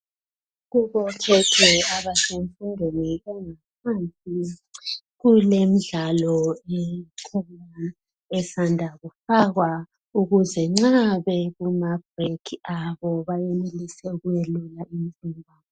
Kubo khekhe abasemfundweni engaphansi kulemidlalo ekhona esanda kufakwa ukuze nxa bekuma brekhi abo bayenelise ukuyeluka imizimba.